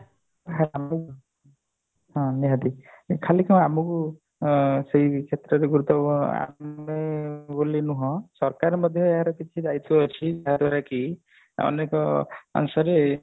ହଁ ନିହାତି ଖାଲି କଣ ଆମକୁ ଅ ସେଇ କ୍ଷେତ୍ରରେ ଗୁରୁତ୍ଵ ଆମେ ବୋଲି ନୁହଁ ସରକାର ମଧ୍ୟ କିଛି ଦାୟିତ୍ଵ ଅଛି ଜାହ ଦ୍ଵାର କି ଆମେ ତ